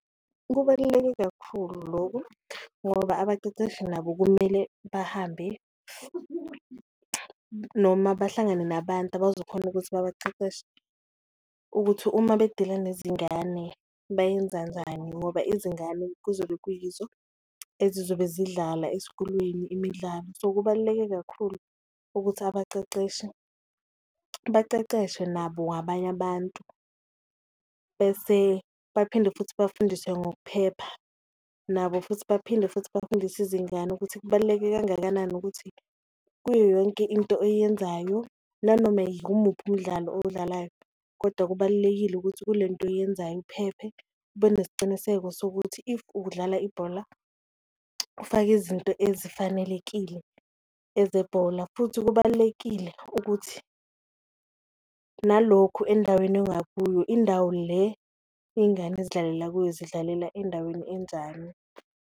Kubaluleke kakhulu loku ngoba abaceceshi nabo kumele bahambe noma bahlangane nabantu abazokhona ukuthi babaceceshe, ukuthi uma bedila nezingane bayenza kanjani ngoba izingane kuzobe kuyizo ezizobe zidlala esikolweni imidlalo. So, kubaluleke kakhulu ukuthi abaceceshi baceceshwe nabo abanye abantu bese baphinde futhi bafundiswe ngokuphepha, nabo futhi baphinde futhi bafundise izingane ukuthi. Kubaluleke kangakanani ukuthi kuyo yonke into oyenzayo nanoma yimuphi umdlalo owudlalayo, kodwa kubalulekile ukuthi kule nto oyenzayo uphephe ube nesiciniseko sokuthi if ubudlala ibhola ufake izinto ezifanelekile eze bhola. Futhi kubalulekile ukuthi nalokhu endaweni ongakuyo indawo le ingane ezidlalela kuyo, zidlalela endaweni enjani.